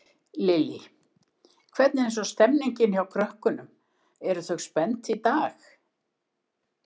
Lillý: Hvernig er svo stemmingin hjá krökkunum, eru þau spennt í dag?